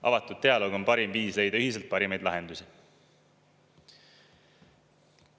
Avatud dialoog on parim viis leida ühiselt parimaid lahendusi.